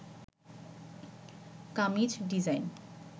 kameez design